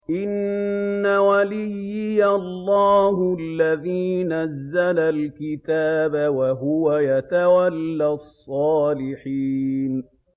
إِنَّ وَلِيِّيَ اللَّهُ الَّذِي نَزَّلَ الْكِتَابَ ۖ وَهُوَ يَتَوَلَّى الصَّالِحِينَ